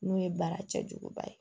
N'o ye baara cɛjuguba ye